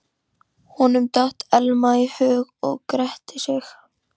Honum datt Elma í hug og gretti sig.